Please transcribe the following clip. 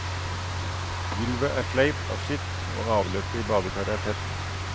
Gulvet er sleipt av skitt, og avløpet i badekaret er tett.